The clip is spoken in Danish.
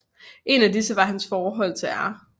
En af disse var hans forhold til R